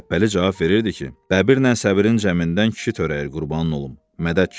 Şəbbəli cavab verirdi ki, bəbirlə səbrin cəmindən kişi törəyir, qurbanın olum, mədədkiişi.